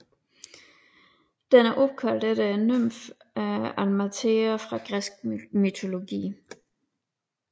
Den er opkaldt efter nymfen Amalthea fra græsk mytologi